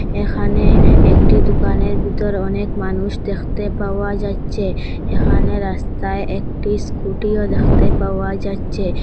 এখানে একটি দোকানের ভিতর অনেক মানুষ দেখতে পাওয়া যাচ্চে এখানে রাস্তায় একটি স্কুটিও দেখতে পাওয়া যাচ্চে।